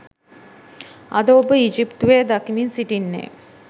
අද ඔබ ඊජිප්තුවේ දකිමින් සිටින්නේ